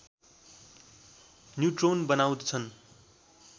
neutron बनाउँदछन्